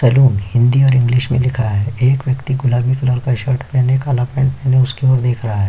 Salon Hindi और English मे लिखा हैं एक व्यक्ति गुलाबी कलर का शर्ट पहने काला पैंट पहने उसकी ओर देख रहा हैं।